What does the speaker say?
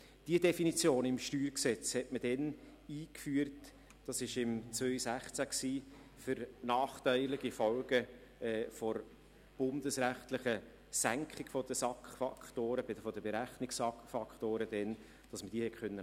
Die Definition im StG hatte man damals eingeführt – das war im Jahr 2016 –, um nachteilige Folgen der bundesrechtlichen Senkung der Berechnungs-SAK-Faktoren abzufedern.